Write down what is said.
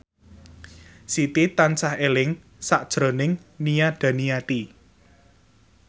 Siti tansah eling sakjroning Nia Daniati